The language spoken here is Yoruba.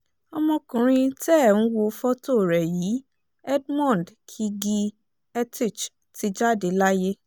ọmọkùnrin tẹ́ ẹ̀ ń wo fọ́tò rẹ̀ yìí edmond kigge etich ti jáde láyé